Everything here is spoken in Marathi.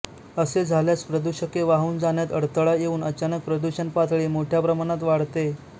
असे झाल्यास प्रदूषके वाहून जाण्यात अडथळा येऊन अचानक प्रदूषण पातळी मोठ्या प्रमाणात वाढते